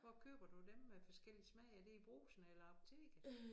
Hvor køber du dem med forskellig smag er det i Brugsen eller apoteket?